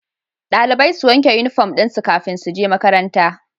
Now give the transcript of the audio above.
Dalibai su wanke inufom dinsu kafin suje makaranta